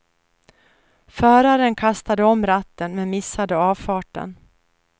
Föraren kastade om ratten, men missade avfarten.